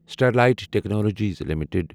Sterlite technologies limited